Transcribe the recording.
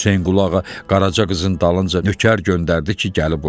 Hüseynquluğa Qaraça qızın dalınca nökər göndərdi ki, gəlib oynasın.